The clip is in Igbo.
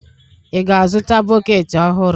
Ị ga-azụta bọket ọhụrụ?